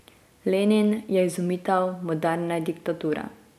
Lenin je izumitelj moderne diktature.